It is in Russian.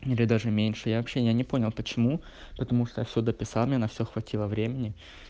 или даже меньше общения не понял почему потому что я всё дописал мне на все хватило времени